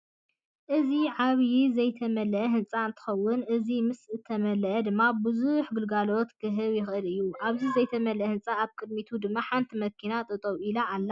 እዚ ዓብይ ዘይተመለአ ህንፃ እንትከውን እዚ ምስ እተመለአ ድማ ቡዙሕ ግልጋሎት ክህብ ይክእል እዩ። ኣብቲ ዘይተመለአ ህንፃ ኣብ ቅዲሙቱ ድማ ሓንቲ መኪና ጠጠው ኢላ ኣላ።